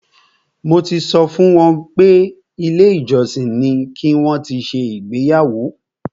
Mo ti sọ fún wọn pé ilé ìjọsìn ni ki wọn ti ṣe ìgbéyàwó.